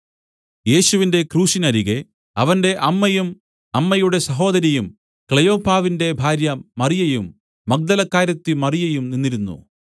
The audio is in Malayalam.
യേശുവിന്റെ ക്രൂശിനരികെ അവന്റെ അമ്മയും അമ്മയുടെ സഹോദരിയും ക്ലെയോപ്പാവിന്റെ ഭാര്യ മറിയയും മഗ്ദലക്കാരത്തി മറിയയും നിന്നിരുന്നു